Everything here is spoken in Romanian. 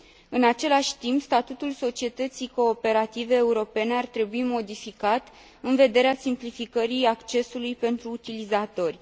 În același timp, statutul societății cooperative europene ar trebui modificat, în vederea simplificării accesului pentru utilizatori.